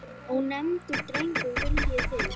Ónefndur drengur: Viljið þið?